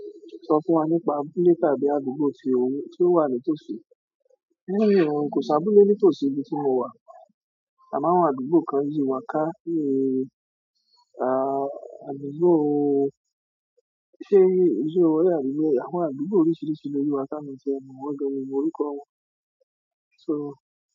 Sọ fún wa nípa àbúlé tàbí àdúgbò tí ò ń tí ó wà ní tòsí. Niì hun kò sí abúlé ní tòsí ibi tí mo wà. Àmọ́ àwọn àdúgbò kan yìí wà ká kí í rí. À, àdúgbò óó, ṣé yìí, ṣé ìṣirò wọn náà ni eléyìí? Àwọn àdúgbò oríṣiríṣi ló yí wá ká mií tí ẹ mọ̀ wọn gan miì mo orúkọ́ wọn. So.